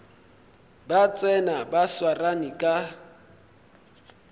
ba tsena ba swarane ka